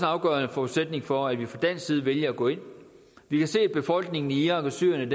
afgørende forudsætning for at vi fra dansk side vælger at gå ind vi kan se at befolkningen i irak og syrien